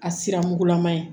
A sira mugulama ye